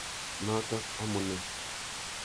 Notok amune.